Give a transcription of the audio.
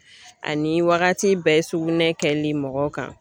Ani wagati bɛɛ sugunɛ kɛli mɔgɔw kan